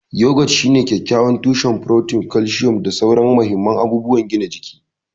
Yogurt shine kyakkyawan tushen furotin, kalcium, da sauran mahimman abubuwan gina jiki.